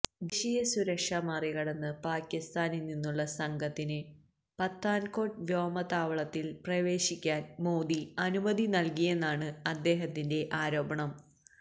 ദേശീയസുരക്ഷ മറികടന്ന് പാകിസ്താനില് നിന്നുള്ള സംഘത്തിന് പത്താന്കോട്ട് വ്യോമതാവളത്തില് പ്രവേശിക്കാന് മോദി അനുമതി നല്കിയെന്നാണ് അദ്ദേഹത്തിന്റെ ആരോപണം